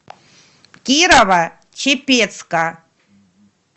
кирово чепецка